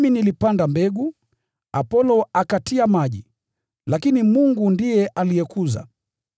Mimi nilipanda mbegu, Apolo akatia maji, lakini Mungu ndiye aliikuza.